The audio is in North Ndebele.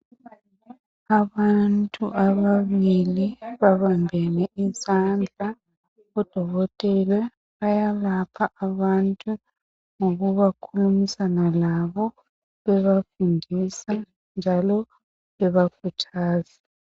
Abantu ababili babambene izandla .Odokotela bayalapha abantu ngokhulumisana labo bebafundisa njalo beba khuthaza .